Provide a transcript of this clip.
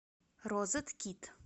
розеткид